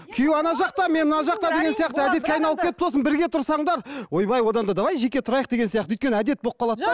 күйеу ана жақта мен мына жақта деген сияқты әдетке айналып кетіп сосын бірге тұрсаңдар ойбай одан да давай жеке тұрайық деген сияқты өйткені әдет болып қалады да